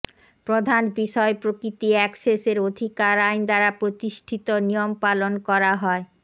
প্রধান বিষয় প্রকৃতি অ্যাক্সেসের অধিকার আইন দ্বারা প্রতিষ্ঠিত নিয়ম পালন করা হয়